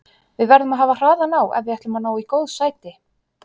Við verðum að hafa hraðan á ef við ætlum að ná í góð sæti.